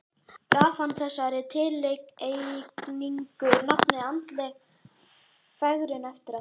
Gaf hann þessari tilhneigingu nafnið andleg fegrun eftir á.